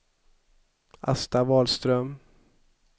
Asta Wahlström